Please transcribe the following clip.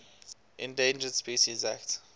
endangered species act